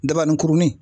Dabaninkurunin